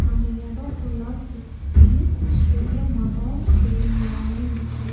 அந்த எடோம் ஃபுல்லா சுத்தி பெரிய மரோம் செடிங்க எல்லாமே இருக்கு.